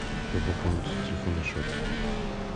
как пополнить телефонный счет